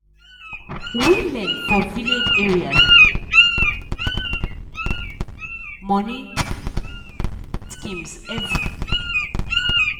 women for village areas dey always contribute small money money to village savings schemes every month.